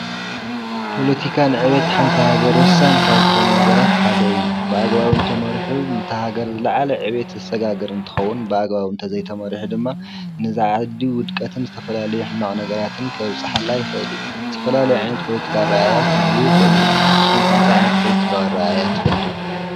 ፖለቲካ ን ዕብየት ሓንቲ ሃገር ወሳኒ ካብ ዝኮኑ ነገራት ሓደ እዩ፡፡ ብኣግባቡ እንተመሪሑ ነቲ ሃገር ዝለዓለ ዕብየት ዘሰጋግር እንትኸውን ብኣግባቡ እንተዘይተማሪሑ ድማ ንዚ ዓዲ ውድቀትን ዝተፈላለዩ ሕማቅ ነገራትን ከብፀሐላ ይኽእል እዩ፡፡ ዝተፈላለዩ ዓይነት ፖለቲካ ኣረኣእያ ክህልዉ ይክእሉ እዮም፡፡ ንስኩም ከ እንታይ ዓይነት ፖለቲካዊ ኣረኣእያ ትፈልጡ?